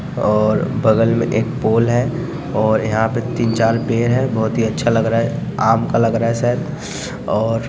और बगल में एक पोल है और यहाँ पे तीन-चार पेड़ है बहुत ही अच्छा लग रहा है आम का लग रहा है शायद और --